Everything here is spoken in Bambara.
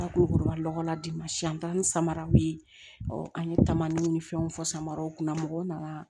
Korokara lɔgɔla di ma siyan an taara ni samaraw ye an ye taamaw ni fɛnw fɔ samaraw kunna mɔgɔw nana